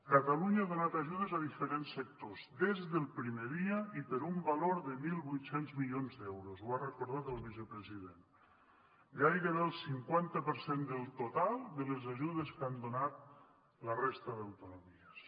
catalunya ha donat ajudes a diferents sectors des del primer dia i per un valor de mil vuit cents milions d’euros ho ha recordat el vicepresident gairebé el cinquanta per cent del total de les ajudes que han donat la resta d’autonomies